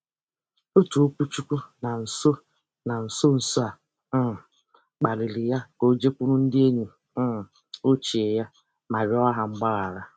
Otu okwuchukwu na nso na nso nso a um kpalịrị ya ka o jekwuru ndị enyi um ochie ya ma rịọ ha mgbaghara.